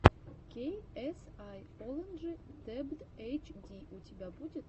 кей эс ай оладжи дебт эйч ди у тебя будет